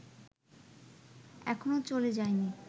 এখনো চলে যায়নি